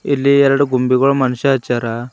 ಇಲ್ಲಿ ಎರಡು ಗೊಂಬೆಗಳು ಮನುಷ್ಯ ಹಚ್ಚಾರ.